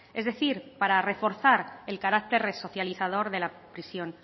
es decir para reforzar el carácter resocializador de la prisión